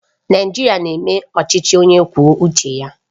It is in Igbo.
Naijiria na-eme ọchịchị onye kwuo uche ya